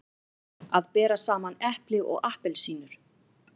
Að bera saman epli og appelsínur